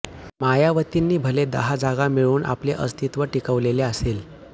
मायावतींनी भले दहा जागा मिळवून आपले अस्तित्व टिकवलेले असेल